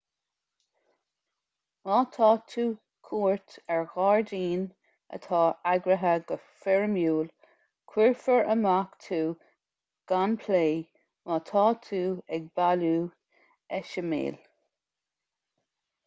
má tá tú cuairt ar ghairdín atá eagraithe go foirmiúil cuirfear amach tú gan plé má tá tú ag bailiú eiseamail